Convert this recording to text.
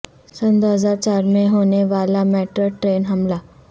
سنہ دو ہزار چار میں ہونے والا میڈرڈ ٹرین حملہ